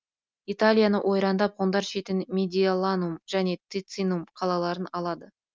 италияны ойрандап ғұндар шетінен медиоланум және тицинум қалаларын алады